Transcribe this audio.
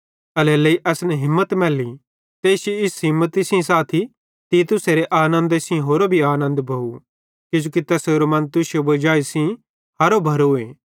एल्हेरेलेइ असन हिम्मत मैल्ली ते इश्शी इस हिम्मती सेइं साथी तीतुसेरे आनन्द सेइं होरो भी आनन्द भोव किजोकि तैसेरो मन तुश्शे वजाई सेइं हरो भरोए